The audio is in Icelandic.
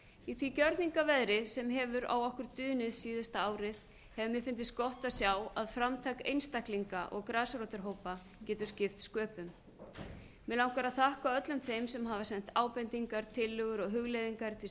í því gjörningaveðri sem hefur á okkur dunið síðasta árið hefur mér fundist gott að sjá að framtak einstaklinga og grasrótarhópa getur skipt sköpum mig langar að þakka öllum þeim sem hafa sent ábendingar tillögur og hugleiðingar til